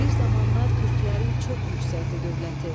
Bir zamanlar türklərin çox yüksəkdi dövləti.